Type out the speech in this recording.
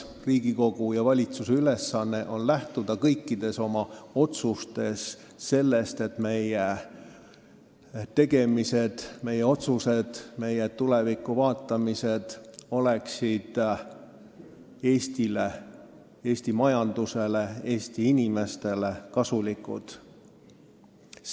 Riigikogu ja valitsuse ülesanne on lähtuda kõikides oma otsustes sellest, et meie tegemised, meie otsused, meie tulevikku vaatamised oleksid Eestile – Eesti majandusele, Eesti inimestele – kasulikud.